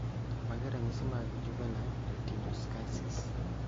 Mage magin ranyisi mag Juvenile retinoschisis